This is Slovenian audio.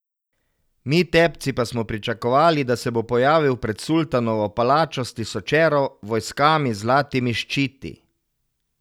Mi, tepci, pa smo pričakovali, da se bo pojavil pred sultanovo palačo s tisočero vojskami z zlatimi ščiti.